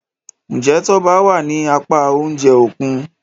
Njé Toba wá ní apá oúnjẹ Òkun?